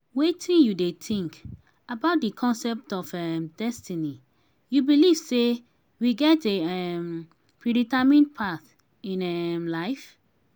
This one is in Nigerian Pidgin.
wetin you dey think about di concept of um destiny you believe say we get a um predetermined path in um life?